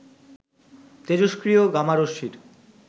তেজস্ক্রিয় gamma রশ্মির